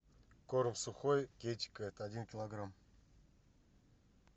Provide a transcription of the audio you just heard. корм сухой китикет один килограмм